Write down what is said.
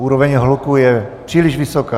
Úroveň hluku je příliš vysoká.